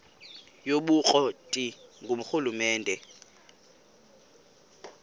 yobukro ti ngurhulumente